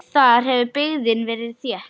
Þar hefur byggðin verið þétt.